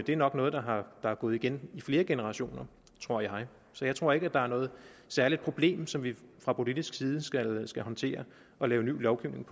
det er nok noget der er gået igen i flere generationer tror jeg så jeg tror ikke at der er noget særligt problem som vi fra politisk side skal skal håndtere og lave ny lovgivning